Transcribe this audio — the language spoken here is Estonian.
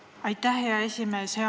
Aitäh, hea esimees!